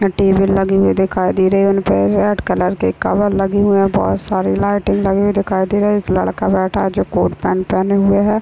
Table लगे हुए दिखाई दे रहे है उनपे रेड कलर के कलर लगे हुए बहोत सारे लाइटे लगे हुए दिखाई दे रहे है एक लड़का बैठा हुआ है जो कोट पेंट पहने हुए है।